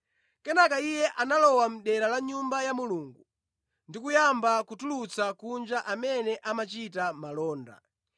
Kenaka Iye analowa mʼdera la Nyumba ya Mulungu ndi kuyamba kutulutsa kunja amene amachita malonda.